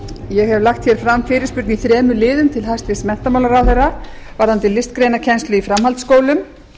ég hef lagt hér fram fyrirspurn í þremur liðum til hæstvirts menntamálaráðherra varðandi listgreinakennslu í framhaldsskólum